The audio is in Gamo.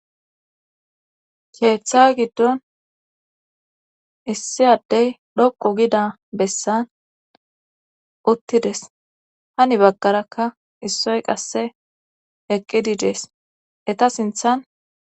Keeththawe giddon issiyaddey dhoqu gida bessan uttides hani baggarakka issoy qasse eqqidi dees eta sinthan.